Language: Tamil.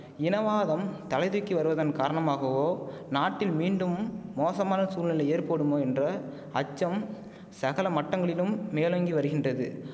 இனவாதம் தலை தூக்கி வருவதன் காரணமாகவோ நாட்டில் மீண்டும் மோசமான சூழ்நிலை ஏற்படுமோ என்ற அச்சம் சகல மட்டங்களிலும் மேலோங்கி வருகின்றது